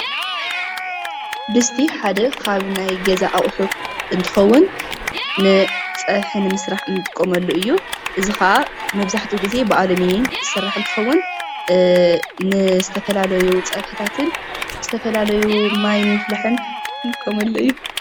ድስቲ ሓደ ካብ ናይ ገዛ ኣቑሑ እንትኸውን ንፀቢሒ ንምስራሕ እንጥቀመሉ እዩ። እዙይ ከዓ መብዛሕትኡ ግዜ ብኣለሚንየም ዝስራሕ እንትኸውን ንዝተፈላለዩ ፀብሕታትን ዝተፈላለዩ ማይ ንምፍላሕን ንጥቀመሉ እዩ።